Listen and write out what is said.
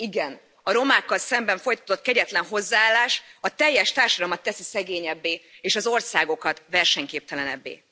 Igen, a romákkal szemben folytatott kegyetlen hozzáállás a teljes társadalmat teszi szegényebbé és az országokat versenyképtelenebbé.